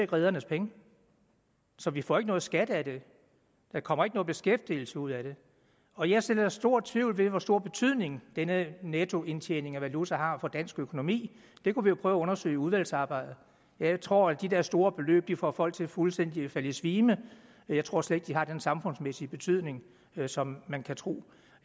redernes penge så vi får ikke noget skat af dem der kommer ikke noget beskæftigelse ud af dem og jeg sår stor tvivl ved hvor stor betydning denne nettoindtjening af valuta har for dansk økonomi det kunne vi jo prøve at undersøge i udvalgsarbejdet jeg tror de der store beløb får folk til fuldstændig at falde i svime jeg tror slet ikke det har den samfundsmæssige betydning som man kunne tro